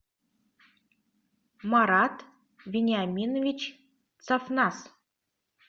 марат вениаминович сафнас